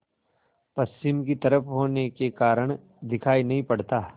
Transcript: पश्चिम की तरफ होने के कारण दिखाई नहीं पड़ता